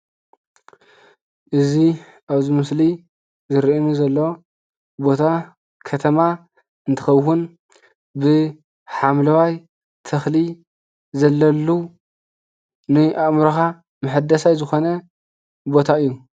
እዚ ኣብ እዚ ምስሊ ዝርአየኒ ዘሎ ቦታ ከተማ እንትኸውን ብሓምለዋይ ተኽሊ ዘለሉ ናይ ኣእምሮኻ መሕደሳይ ዝኾነ ቦታ እዩ።